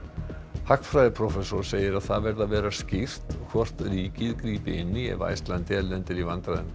hagfræðiprófessor segir að það verði að vera skýrt hvort ríkið grípi inn í ef Icelandair lendir í vandræðum